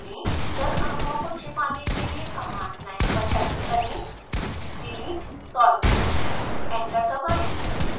जल अणुओं को छिपाने के लिए कमांड लाइन पर टाइप करें delete solvent एंटर दबाएँ